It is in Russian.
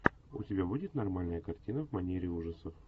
у тебя будет нормальная картина в манере ужасов